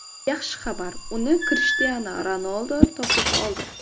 Yaxshi xabar: uni Krishtianu Ronaldu topib oldi.